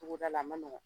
Togoda la a ma nɔgɔn